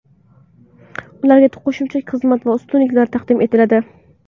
Ularga qo‘shimcha xizmat va ustunliklar taqdim etiladi.